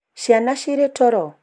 ciana cirĩ toro?